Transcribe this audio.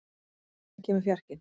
, hvenær kemur fjarkinn?